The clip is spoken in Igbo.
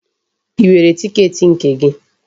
Ị nwere tiketi nke gị?